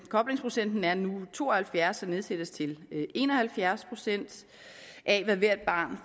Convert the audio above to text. koblingsprocenten er nu to og halvfjerds og nedsættes til en og halvfjerds procent af hvad hvert barn